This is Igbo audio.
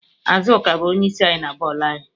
Azuka bu onye isi anyị na boolu anyị